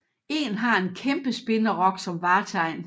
En har en kæmpe spinderok som vartegn